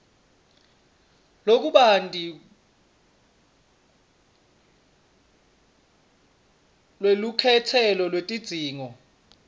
lokubanti lwelukhetselo lwetidzingo